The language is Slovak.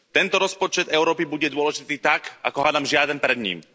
Tento rozpočet Európy bude dôležitý tak, ako hádam žiaden pred ním.